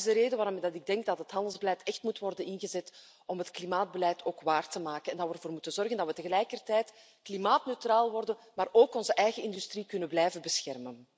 Dat is de reden waarom ik denk dat het handelsbeleid echt moet worden ingezet om het klimaatbeleid ook waar te maken, en dat we ervoor moeten zorgen dat we tegelijkertijd klimaatneutraal worden maar ook onze eigen industrie kunnen blijven beschermen.